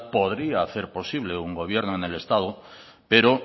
podría hacer posible un gobierno en el estado pero